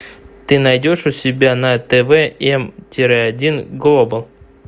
ты найдешь у себя на тв м тире один глобал